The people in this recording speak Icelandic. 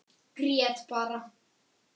Grét bara.